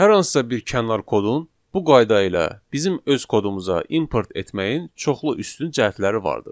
Hər hansısa bir kənar kodun bu qayda ilə bizim öz kodumuza import etməyin çoxlu üstün cəhətləri vardır.